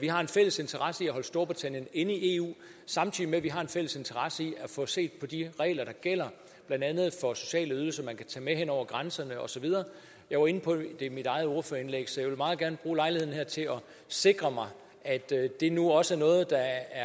vi har en fælles interesse i at holde storbritannien inde i eu samtidig med at vi har en fælles interesse i at få set på de regler der gælder blandt andet for sociale ydelser man kan tage med hen over grænserne og så videre jeg var inde på det i mit eget ordførerindlæg så jeg vil meget gerne bruge lejligheden her til at sikre mig at det nu også er noget der